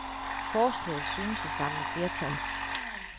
Forslaget synes at samle flertal.